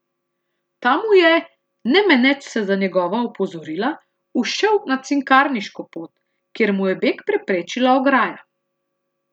Ta mu je, ne meneč se za njegova opozorila, ušel na Cinkarniško pot, kjer mu je beg preprečila ograja.